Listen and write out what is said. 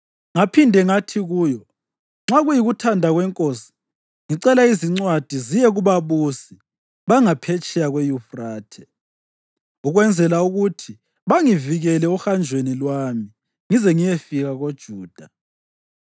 Ngaphinde ngathi kuyo, “Nxa kuyikuthanda kwenkosi, ngicela izincwadi ziye kubabusi bangaphetsheya kweYufrathe, ukwenzela ukuthi bangivikele ohanjweni lwami ngize ngiyefika koJuda?